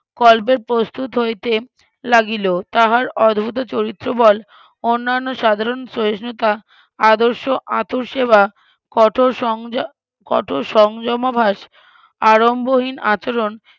গল্পের প্রস্তুত হইতে লাগিল তাহার অদ্ভুত চরিত্রবল অন্যান্য সাধারণ সহিষ্ণুতা আদর্শ আতুরসেবা কঠোর সংযম ~ কঠোর সংযমভাস আড়ম্বরহীন আচরন